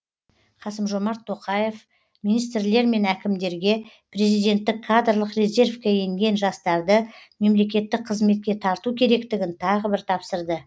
қасым жомарт тоқаева министрлер мен әкімдерге президенттік кадрлық резервке енген жастарды мемлекеттік қызметке тарту керектігін тағы бір тапсырды